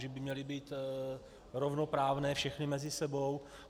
Že by měly být rovnoprávné všechny mezi sebou.